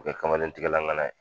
bɛ kɛ kamalen tigɛlan ŋana ye.